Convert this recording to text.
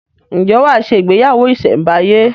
Ǹjẹ́ wà á se “ ìgbéyàwó ìsẹ̀ǹbáyé?